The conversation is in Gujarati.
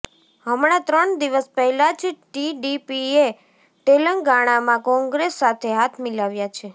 હમણા ત્રણ દિવસ પહેલાં જ ટીડીપીએ તેલંગાણામાં કોંગ્રેસ સાથે હાથ મિલાવ્યા છે